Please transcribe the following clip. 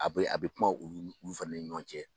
A bɛ a bɛ kuma uu fɛnɛ ni ɲɔgɔn cɛ.